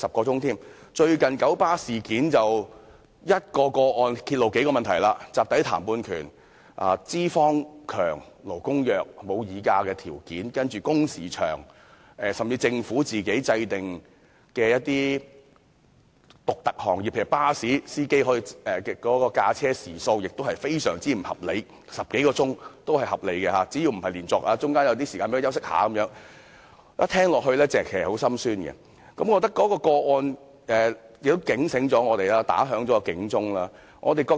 最近九龍巴士有限公司的一宗個案揭露了數個問題，包括集體談判權；資方強，勞工弱，沒有議價條件；工時長，甚至政府就一些特定行業訂立的規定，例如巴士司機的駕車時數，亦非常不合理，因為根據有關規定，司機駕駛10多小時也屬合理，只要不是連續工作及讓司機有休息時間便可，令人聽到也感到很心酸。